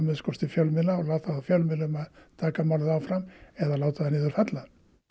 til fjölmiðla og láta þá fjölmiðla um að taka málið áfram eða láta það niður falla